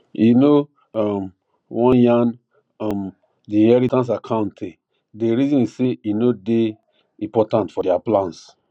e no um wan yan um the inheritance accounte day reason say e no day important for their plans